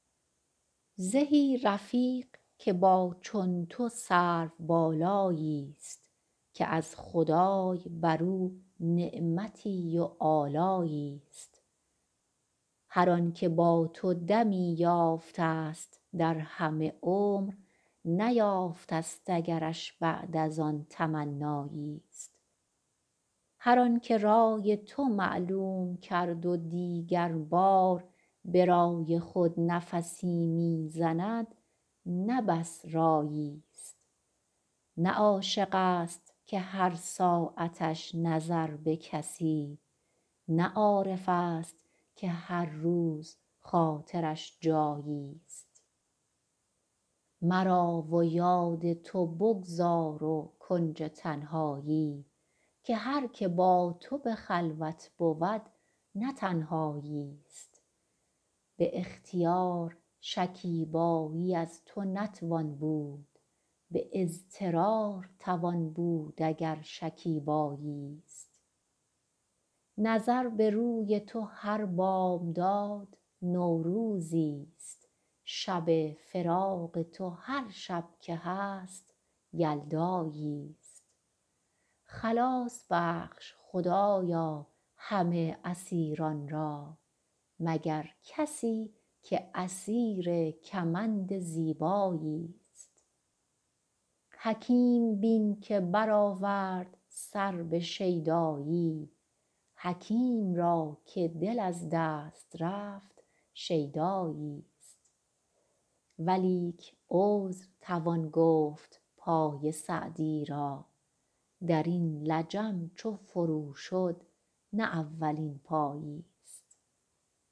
زهی رفیق که با چون تو سروبالایی است که از خدای بر او نعمتی و آلایی است هر آن که با تو دمی یافته است در همه عمر نیافته است اگرش بعد از آن تمنایی است هر آن که رای تو معلوم کرد و دیگر بار برای خود نفسی می زند نه بس رایی است نه عاشق است که هر ساعتش نظر به کسی نه عارف است که هر روز خاطرش جایی است مرا و یاد تو بگذار و کنج تنهایی که هر که با تو به خلوت بود نه تنهایی است به اختیار شکیبایی از تو نتوان بود به اضطرار توان بود اگر شکیبایی است نظر به روی تو هر بامداد نوروزی است شب فراق تو هر شب که هست یلدایی است خلاص بخش خدایا همه اسیران را مگر کسی که اسیر کمند زیبایی است حکیم بین که برآورد سر به شیدایی حکیم را که دل از دست رفت شیدایی است ولیک عذر توان گفت پای سعدی را در این لجم چو فرو شد نه اولین پایی است